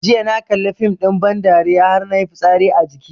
Jiya na kalli fim ɗin ban dariya har nayi fitsari a jiki